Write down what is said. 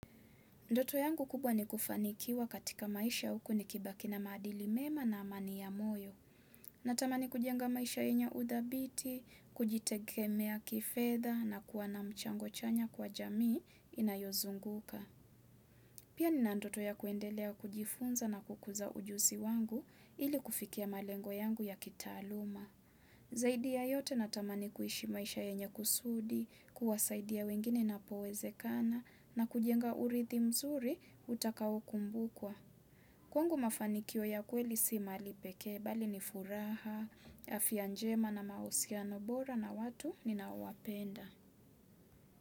Ndoto yangu kubwa ni kufanikiwa katika maisha huku nikibaki na madili mema na amani ya moyo. Natamani kujenga maisha yenye udhabiti, kujitegemea kifedha na kuwa na mchango chanya kwa jamii inayozunguka. Pia nina ndoto ya kuendelea kujifunza na kukuza ujuzi wangu ili kufikia malengo yangu ya kitaaluma. Zaidi ya yote natamani kuishi maisha yenye kusudi, kuwasaidia wengine napoweze kana na kujenga urithi mzuri utakawo kumbukwa. Kwangu mafanikio ya kweli si mali peke bali ni furaha, afia njema na mausiano bora na watu ninawapenda.